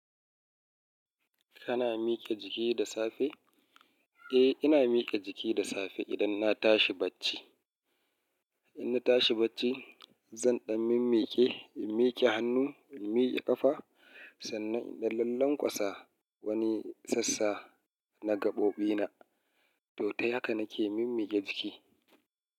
Kana mike jiki da safe? Eh, ina mike jiki da safe idan na tashi bacci. In na tashi bacci, zan ɗan mimmiƙe, in miƙe hannu, in miƙe ƙafa, sannan in ɗan lallanƙwasa wani sassa na gaɓoɓina. To, ta haka nake mimmiƙe jiki.